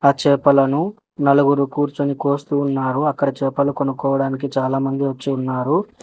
ఆ చేపలను నలుగురు కూర్చుని కోస్తూ ఉన్నారు అక్కడ చేపలు కొనుక్కోవడానికి చాలామంది వచ్చి ఉన్నారు.